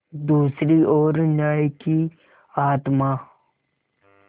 दूसरी ओर न्याय की आत्मा